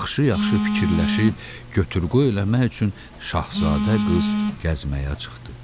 Yaxşı-yaxşı fikirləşib götür-qoy eləmək üçün şahzadə qız gəzməyə çıxdı.